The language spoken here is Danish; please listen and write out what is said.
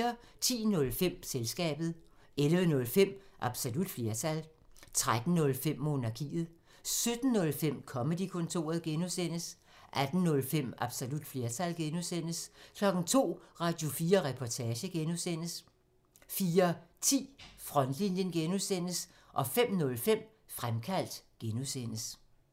10:05: Selskabet 11:05: Absolut flertal 13:05: Monarkiet 17:05: Comedy-kontoret (G) 18:05: Absolut flertal (G) 02:00: Radio4 Reportage (G) 04:10: Frontlinjen (G) 05:05: Fremkaldt (G)